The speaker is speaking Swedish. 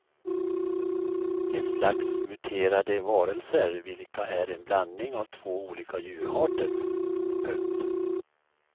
Ett slags muterade varelser vilka är en blandning av två olika djurarter. punkt